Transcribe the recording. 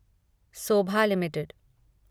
Sobha limited